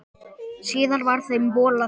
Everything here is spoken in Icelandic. Síðar var þeim bolað frá.